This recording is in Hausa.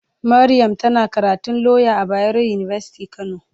Mariam tana karatun lauya a bayaro university kano.